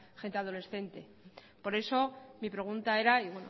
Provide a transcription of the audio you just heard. gente adolescente por eso mi pregunta era y